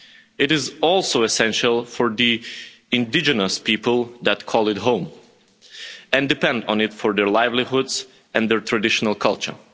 It is also essential for the indigenous people that call it home and depend on it for their livelihoods and their traditional culture.